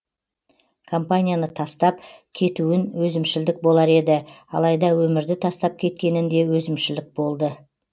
компанияны тастап кетуін өзімшілдік болар еді алайда өмірді тастап кеткенін де өзімшілдік болды